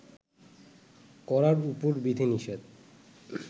করার উপর বিধিনিষেধ